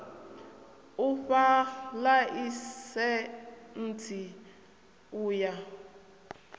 u fha ḽaisentsi u ya